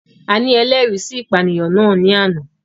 A ni ẹlẹri si ipaniyan nas ni ana